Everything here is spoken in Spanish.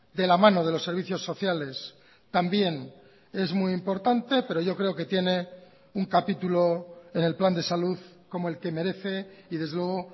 de la mano de los servicios sociales también es muy importante pero yo creo que tiene un capítulo en el plan de salud como el que merece y desde luego